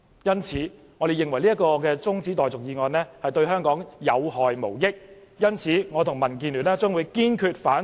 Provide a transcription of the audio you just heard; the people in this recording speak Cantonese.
因此，我們認為中止待續議案對香港有害無益，我和民建聯堅決反對中止待續議案。